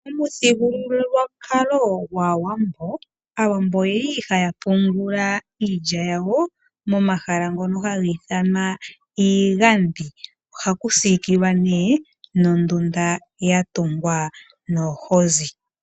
Omuthigululwakalo gwaawambo aawambo oyali haya pungula iilya yawo momahala ngono hagi ithanwa iigandhi ohaku sikilwa nee nondunda ya tungwa noohozi.